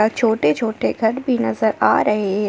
छोटे छोटे घर भी नजर आ रहे--